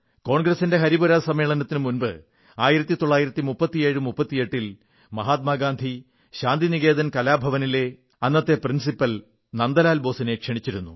കോൺഗ്രസിന്റെ ഹരിപുരാ സമ്മേളനത്തിനു മുമ്പ് 193738 ൽ മഹാത്മാ ഗാന്ധി ശാന്തിനികേതൻ കലാ ഭവനിലെ അന്നത്തെ പ്രിൻസിപ്പാൾ നന്ദലാൽ ബോസിനെ ക്ഷണിച്ചിരുന്നു